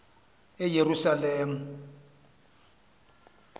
eyerusalem